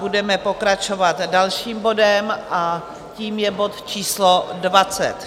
Budeme pokračovat dalším bodem a tím je bod číslo